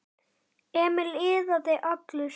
Emil iðaði allur.